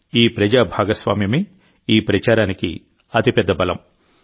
ఈ ప్రజా భాగస్వామ్యమే ఈ ప్రచారానికి అతిపెద్ద బలం